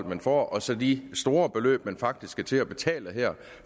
man får og så de store beløb man faktisk skal til at betale her